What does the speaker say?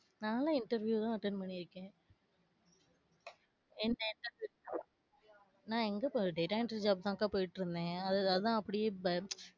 நான்லாம் interview எல்லாம் attend பண்ணிருக்கேன். நான் எங்க போனேன் data entry job தான் க்கா போயிட்டு இருந்தேன். அது அதான் அப்டியே,